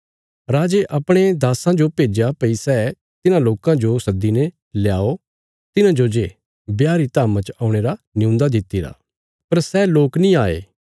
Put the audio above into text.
राजे अपणे दास्सां जो भेज्या भई सै तिन्हां लोकां जो सद्दीने ल्याओ तिन्हांजो जे ब्याह री धाम्मा च औणे रा नियून्दा दित्तिरा पर सै लोक नीं आये